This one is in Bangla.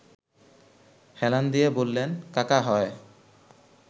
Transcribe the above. হেলান দিয়ে বললেন– কাকা হয়